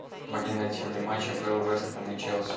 помоги найти мне матч апл вест хэм и челси